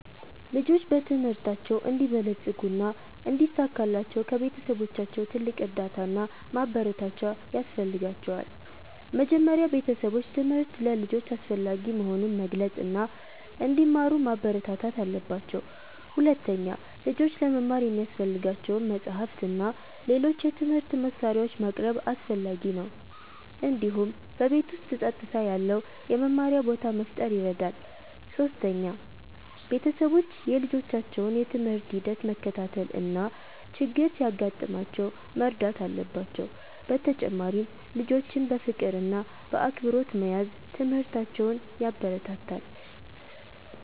ልጆች በትምህርታቸው እንዲበለጽጉ እና እንዲሳካላቸው ከቤተሰቦቻቸው ትልቅ እርዳታ እና ማበረታቻ ያስፈልጋቸዋል። መጀመሪያ ቤተሰቦች ትምህርት ለልጆች አስፈላጊ መሆኑን መግለጽ እና እንዲማሩ ማበረታታት አለባቸው። ሁለተኛ፣ ልጆች ለመማር የሚያስፈልጋቸውን መጻሕፍት እና ሌሎች የትምህርት መሳሪያዎች ማቅረብ አስፈላጊ ነው። እንዲሁም በቤት ውስጥ ጸጥታ ያለው የመማሪያ ቦታ መፍጠር ይረዳል። ሶስተኛ፣ ቤተሰቦች የልጆቻቸውን የትምህርት ሂደት መከታተል እና ችግር ሲያጋጥማቸው መርዳት አለባቸው። በተጨማሪም ልጆችን በፍቅር እና በአክብሮት መያዝ ትምህርታቸውን ያበረታታል።